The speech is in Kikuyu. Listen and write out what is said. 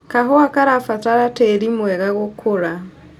Kahũa karabatara tĩri mwega gũkũra.